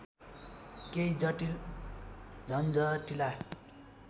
केही जटील झन्झटिला